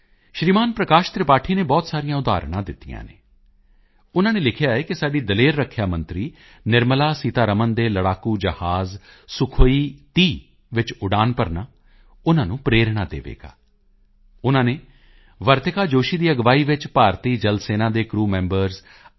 ਸ਼੍ਰੀਮਾਨ ਪ੍ਰਕਾਸ਼ ਤ੍ਰਿਪਾਠੀ ਨੇ ਬਹੁਤ ਸਾਰੀਆਂ ਉਦਾਹਰਨਾਂ ਦਿੱਤੀਆਂ ਹਨ ਉਨ੍ਹਾਂ ਨੇ ਲਿਖਿਆ ਹੈ ਕਿ ਸਾਡੀ ਦਲੇਰ ਰੱਖਿਆ ਮੰਤਰੀ ਨਿਰਮਲਾ ਸੀਤਾਰਮਣ ਦੇ ਲੜਾਕੂ ਜਹਾਜ਼ ਸੁਖੋਈ 30 ਵਿੱਚ ਉਡਾਨ ਭਰਨਾ ਉਨ੍ਹਾਂ ਨੂੰ ਪ੍ਰੇਰਣਾ ਦੇਵੇਗਾ ਉਨ੍ਹਾਂ ਨੇ ਵਰਤਿਕਾ ਜੋਸ਼ੀ ਦੀ ਅਗਵਾਈ ਵਿੱਚ ਭਾਰਤੀ ਜਲ ਸੈਨਾ ਦੇ ਕਰੂ ਮੈਂਬਰਜ਼ ਆਈ